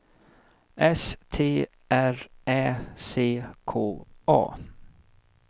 S T R Ä C K A